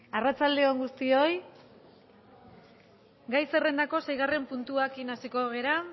arratsalde on guztioi gai zerrendako seigarren puntua akin aseko gera